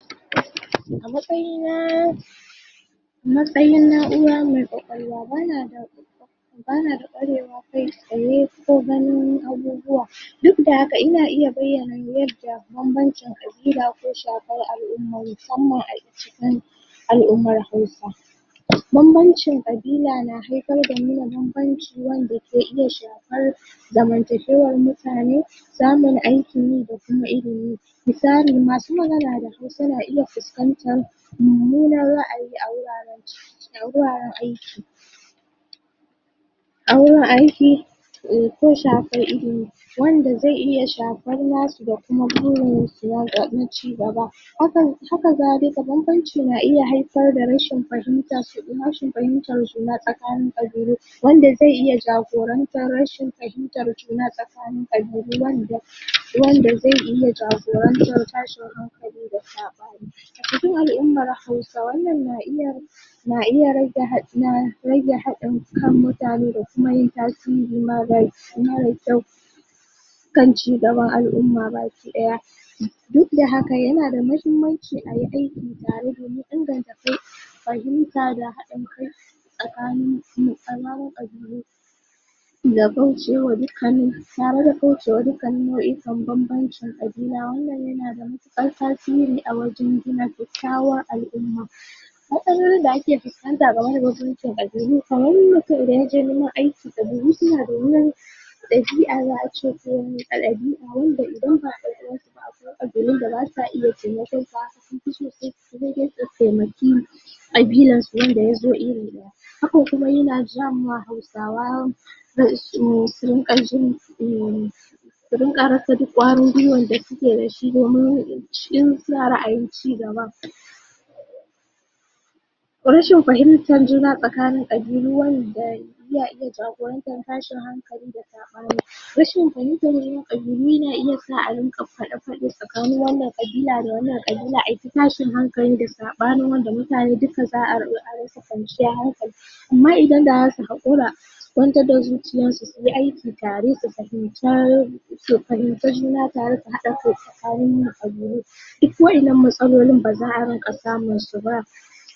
A matsayin na'ura mai ƙwaƙwalwa ba na da ƙwarewa kai tsaye, ko ganin abubuwa. Duk da haka ina iya bayyana yanda yanda bambancin ƙabila ke shafar al'umma, musamman a cikin al'ummar hausa. Bambancin ƙabila na haifar da nuna bambanci, wanda ke iya shafar zamantakewar mutane, samun aikin yi, da kuma ilimi. Misali; masu magana da hausa na iya fuskantar mummunar ra'ayi, a wuraren aiki, ko shafar ilimi, wanda zai iya shafar na su, da kuma burin su na cigaba. Haka zalika, bambanci na iya haifar da rashin fahimtar juna tsakanin ƙabilu, wanda zai iya jagorantar rashin fahimtar juna tsakanin ƙabilu, wanda zai iya jagorantar tashin hankali da saɓani. A cikin al'ummar hausa, wannan na iya rage haɗin kan mutane, da kuma yin tasiri mara kyau kan cigaban al'umma baki ɗaya. Duk da haka, yana da muhimmanci ayi aiki tare, domin inganta fahimta da haɗin kai tsakanin ƙabilu, tare da kaucewa duk kannin nau'ikan bambancin ƙabila, wannan yana da matuƙar tasiri a wajen gina kyakykyawar al'umma. Matsalolin da ake fuskanta game da bambancin ƙabilu, kamar mutum da yaje neman aiki, ƙabilu suna da wani ɗabi'a, wanda idan ba ɗan uwan su ba, akwai ƙabilun da basa iya taimakon sa, sun fi so sai dai su taimaki ƙabilar su, wanda yazo iri ɗaya. Hakan kuma yana ja ma hausawa, su rinƙa rasa duk ƙwarin gwuiwar da suke dashi, in suna ra'ayin cigaba. Rashin fahimtar juna tsakanin ƙabilu iya iya jawo tashin hankali da saɓani. Rashin fahimtar ƙabilu, yana iya sa a rinƙa faɗe-faɗe, tsakanin wannan ƙabila da wannan ƙabila, ai ta tashin hankali da saɓani, wanda mutane duka za a zo a rasa kwanciyar hankali. Amma idan da zasu haƙura, su kwantar da zuciyan su, suyi aiki tare, su fahimci juna tare, su haɗa kai tsakanin ƙabilu. Duk wa'innan matsalolin, ba za a rinƙa samun su ba.